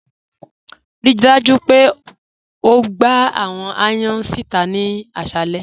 Ríí dájú pé ó gbà àwọn ayàn si íta ni àṣàlẹ̀.